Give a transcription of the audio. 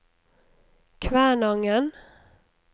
Kvænangen